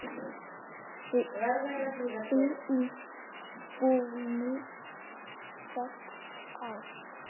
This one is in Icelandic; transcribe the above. Því í búðinni fékkst allt.